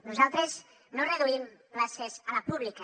nosaltres no reduïm places a la pública